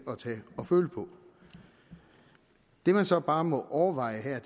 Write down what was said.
at tage og føle på det man så bare må overveje her